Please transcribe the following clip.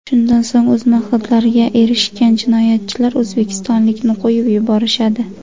Shundan so‘ng o‘z maqsadlariga erishgan jinoyatchilar o‘zbekistonlikni qo‘yib yuborishadi.